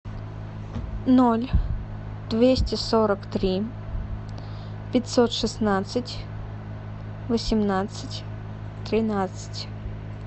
ноль двести сорок три пятьсот шестнадцать восемнадцать тринадцать